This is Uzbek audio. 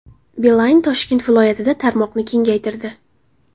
Beeline Toshkent viloyatida tarmoqni kengaytirdi .